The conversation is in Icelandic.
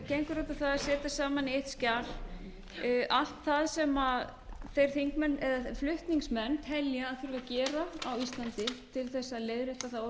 gengur út á það að setja saman í eitt skjal allt það sem flutningsmenn telja að þurfi að gera á íslandi til þess að leiðrétta það